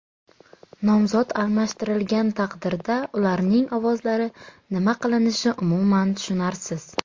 Nomzod almashtirilgan taqdirda ularning ovozlari nima qilinishi umuman tushunarsiz.